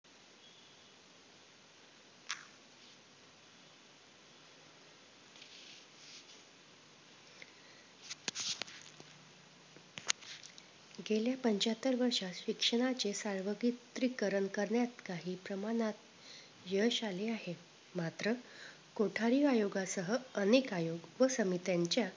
गेल्या पंच्याहत्तर वर्षात शिक्षणाचे सार्वत्रीकरण करण्यात काही प्रमाणात यश आले आहे मात्र कोठारी आयोगासह अनेक अयोग व सामीत्यांच्या